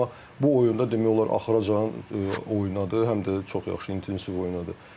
Amma bu oyunda demək olar axıra qədər oynadı, həm də çox yaxşı intensiv oynadı.